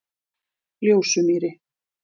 Ljósumýri